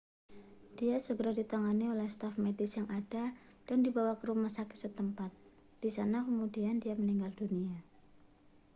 dia segera ditangani oleh staf medis yang ada dan dibawa ke rumah sakit setempat di sana kemudian dia meninggal dunia